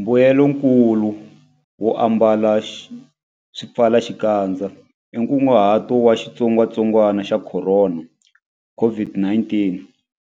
Mbuyelonkulu wo ambala swipfalaxikandza i ku hunguta ntalo wa xitsongwantsongwana xa Khorona, COVID-19,